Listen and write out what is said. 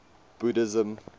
buddhism